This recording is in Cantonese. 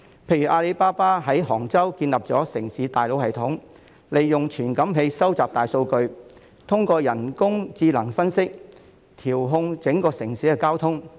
例如，阿里巴巴在杭州建立的城市大腦系統，利用傳感器收集大數據，透過人工智能分析，調控整個城市的交通。